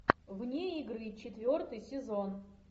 вне игры четвертый сезон